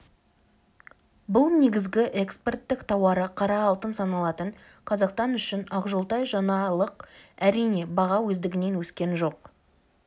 бұл негізгі экспорттық тауары қара алтын саналатын қазақстан үшін ақжолтай жаңалық әрине баға өздігінен өскен жоқ